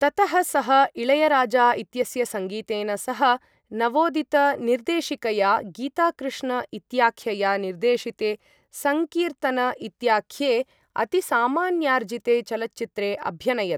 ततः सः इळयराजा इत्यस्य सङ्गीतेन सह नवोदितनिर्देशिकया गीताकृष्ण इत्याख्यया निर्देशिते सङ्कीर्तन इत्याख्ये अतिसामान्यार्जिते चलच्चित्रे अभ्यनयत्।